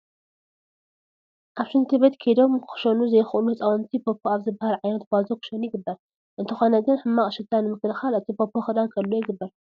ኣብ ሽንቲ ቤት ከይዶም ክሸኑ ዘይኽእሉ ህፃውንቲ ፖፖ ኣብ ዝበሃል ዓይነት ባዞ ክሸኑ ይግበር፡፡ እንተኾነ ግን ሕማቕ ሽታ ንምክልኻል እቲ ፖፖ ክዳን ክህልዎ ይግበር፡፡